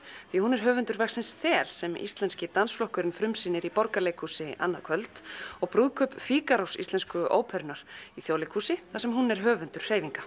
því hún er höfundur verksins ÞEL sem Íslenski dansflokkurinn frumsýnir í Borgarleikhúsi annað kvöld og brúðkaup Fígarós Íslensku óperunnar í Þjóðleikhúsi þar sem hún er höfundur hreyfinga